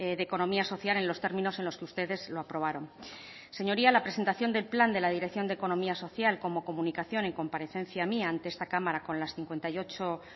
de economía social en los términos en los que ustedes lo aprobaron señoría la presentación del plan de la dirección de economía social como comunicación en comparecencia mía ante esta cámara con las cincuenta y ocho